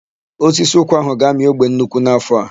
Osisi ụkwa áhụ̀ ga-amị ogbe nnukwu n'áfọ̀ a.